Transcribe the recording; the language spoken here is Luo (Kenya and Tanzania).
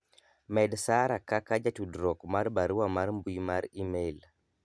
med sara kaka jatuddruok mar barua mar mbui mar email